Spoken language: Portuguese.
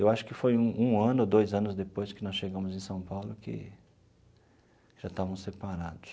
Eu acho que foi um um ano ou dois anos depois que nós chegamos em São Paulo que já estavam separados.